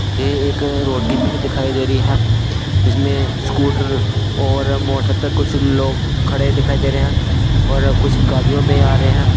यह एक रोड की पिक दिखाई दे रही है इसमें स्कूटर और मोटर पे कुछ लोग खड़े दिखाई दे रहे हैंऔर कुछ गाड़ियों में आ रहे हैं।